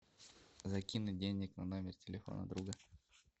закинуть денег на номер телефона друга